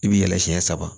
I bi yɛlɛ siɲɛ saba